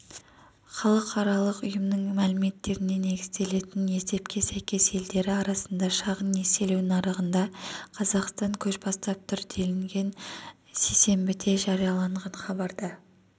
халықаралық ұйымның мәліметтеріне негізделетін есепке сәйкес елдері арасында шағын несиелеу нарығында қазақстан көш бастап тұр делінген сейсенбіде жарияланған хабарда